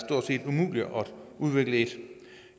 umuligt at udvikle et